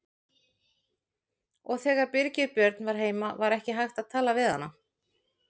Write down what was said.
Og þegar Birgir Björn var heima var ekki hægt að tala við hana.